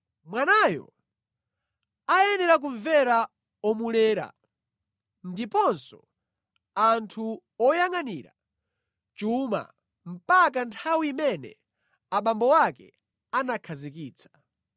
Mwanayo ayenera kumvera omulera ndiponso anthu oyangʼanira chuma mpaka nthawi imene abambo ake anakhazikitsa.